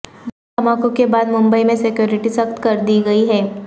دھماکوں کے بعد ممبئی میں سکیورٹی سخت کردی گئی ہے